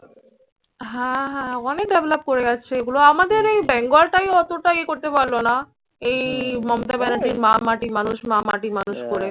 হ্যাঁ হ্যাঁ অনেক develop করে গেছে। এগুলো আমাদের এই বেঙ্গলটাই অতটা ইয়ে করতে পারল নািএই মমতা ব্যানার্জির মা, মাটি, মানুষ, মা, মাটি, মানুষ করে